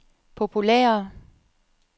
populære